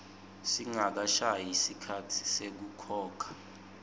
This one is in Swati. singakashayi sikhatsi sekukhokha